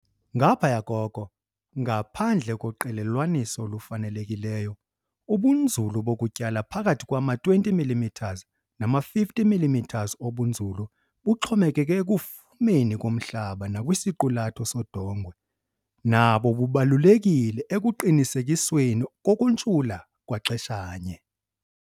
Ngaphaya koko, ngaphandle koqelelwaniso olufanelekileyo, ubunzulu bokutyala, phakahi kwama-20 mm nama-50 mm obunzulu buxhomekeke ekufumeni komhlaba nakwisiqulatho sodongwe, nabo bubalulekile ekuqinisekisweni kokuntshula kwaxeshanye.